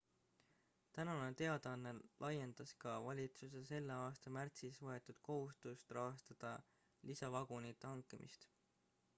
tänane teadaanne laiendas ka valitsuse selle aasta märtsis võetud kohustust rahastada lisavagunite hankimist